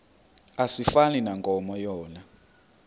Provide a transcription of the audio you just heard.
asifani nankomo yona